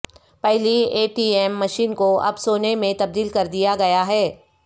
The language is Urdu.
پہلی اے ٹی ایم مشین کو اب سونے میں تبدیل کر دیا گیا ہے